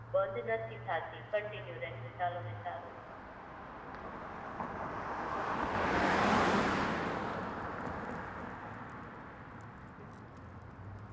Tempuninstall કરવું હોય તો થા છે પણ તમારી Google ID બંધ નથી થાતી,